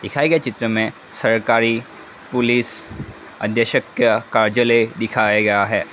दिखाए गए चित्र में सरकारी पुलिस आदेशक का कार्यालय दिखाया गया है।